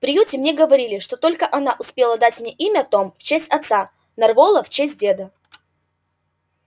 в приюте мне говорили что она только успела дать мне имя том в честь отца нарволо в честь деда